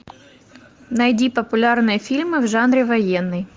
найди популярные фильмы в жанре военный